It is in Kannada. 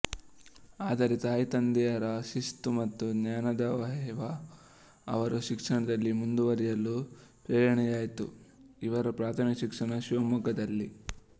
ಆದರೆ ತಾಯಿ ತಂದೆಯರ ಶಿಸ್ತು ಮತ್ತು ಜ್ಞಾನದಾಹವೇ ಅವರು ಶಿಕ್ಷಣದಲ್ಲಿ ಮುಂದುವರಿಯಲು ಪ್ರೇರಣೆಯಾಯಿತು ಇವರ ಪ್ರಾಥಮಿಕ ಶಿಕ್ಷಣ ಶಿವಮೊಗ್ಗದಲ್ಲಿ